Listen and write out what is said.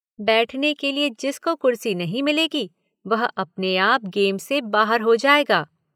बैठने के लिए जिसको कुर्सी नहीं मिलेगी वह अपने आप गेम से बाहर हो जाएगा।